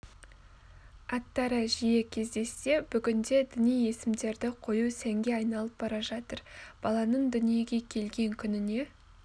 аттары жиі кездессе бүгінде діни есімдерді қою сәнге айналып бара жатыр баланың дүниеге келген күніне